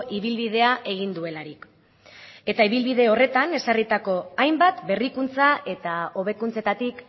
ibilbidea egin duelarik eta ibilbide horretan ezarritako hainbat berrikuntza eta hobekuntzetatik